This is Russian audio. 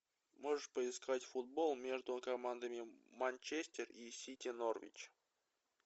можешь поискать футбол между командами манчестер и сити норвич